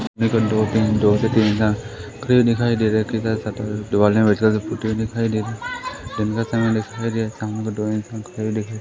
दो से तीन इंसान खड़े दिखाई दे रहे हैं दिवालें पूरी तरह से पुती हुई दिखाई दे रही हैं दिन का समय दिखाई दे रहा है सामने दो इंसान खड़े हुए दिखाई --